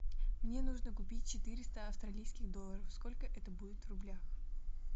мне нужно купить четыреста австралийских долларов сколько это будет в рублях